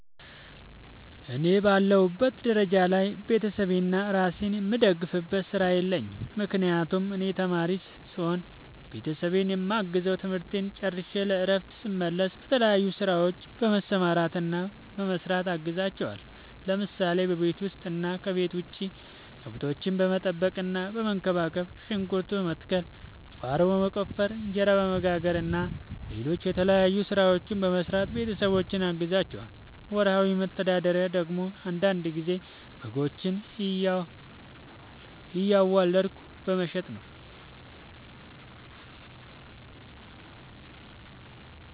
እኔ በአለሁበት ደረጃ ላይ ቤተሰቤንና እራሴን የምደግፍበት ስራ የለኝም። ምክንያቱም እኔ ተማሪ ስሆን ቤተሰቤን የማግዘው ትምህርቴን ጨርሸ ለእረፍት ስመለስ በተለያዩ ስራዎች በመሰማራትና በመስራት አግዛቸዋለሁ። ለምሳሌ፦ በቤት ውስጥ እና ከቤት ውጭ ከብቶች በመጠበቅና በመንከባከብ፣ ሽንኩርት በመትከል፣ ቁፋሮ በመቆፈር፣ እንጀራ በመጋገር እና ሌሎችም የተለያዩ ስራዎችን በመስራት ቤተሰቦቼን አግዛቸዋለሁ። ወርሃዊ መተዳደሪያ ደግሞ አንዳንድ ጊዜ በጎችን እያዋለድኩ በመሸጥ ነው።